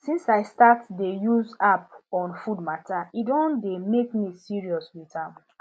since i start dey use app on food matter e don dey make me serious with am